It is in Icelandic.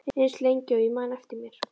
Eins lengi og ég man eftir mér.